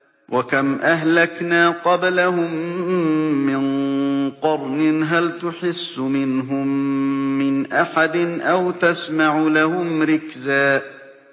وَكَمْ أَهْلَكْنَا قَبْلَهُم مِّن قَرْنٍ هَلْ تُحِسُّ مِنْهُم مِّنْ أَحَدٍ أَوْ تَسْمَعُ لَهُمْ رِكْزًا